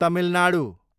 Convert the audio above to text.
Tamil Nadu